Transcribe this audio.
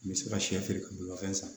N bɛ se ka sɛ feere ka bolimafɛn san